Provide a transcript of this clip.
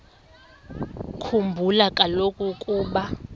khumbula kaloku ukuba